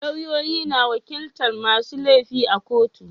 Lauyoyi na wakilta masu laifi a kotu